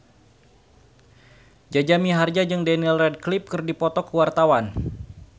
Jaja Mihardja jeung Daniel Radcliffe keur dipoto ku wartawan